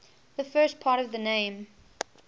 the first part of the name